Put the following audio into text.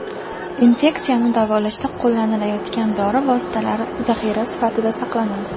Infeksiyani davolashda qo‘llanilayotgan dori vositalari zaxira sifatida saqlanadi.